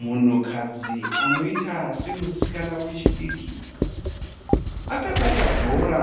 Munhukadzi anoita semusikana wechidiki. Akabata bhora